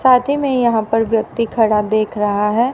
साथ ही मे यहाँ पर व्यक्ति खड़ा देख रहा है।